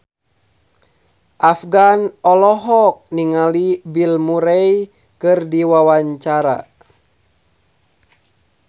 Afgan olohok ningali Bill Murray keur diwawancara